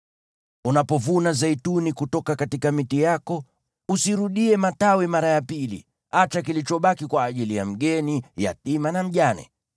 Unapovuna zeituni kutoka miti yako, usirudie matawi mara ya pili. Acha kilichobaki kwa ajili ya mgeni, yatima na mjane.